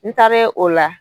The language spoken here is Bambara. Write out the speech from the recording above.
N taare o la